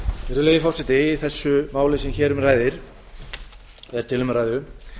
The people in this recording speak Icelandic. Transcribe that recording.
virðulegi forseti í þessu máli sem hér er til umræðu